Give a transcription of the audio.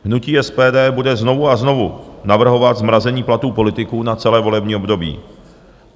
Hnutí SPD bude znovu a znovu navrhovat zmrazení platů politiků na celé volební období.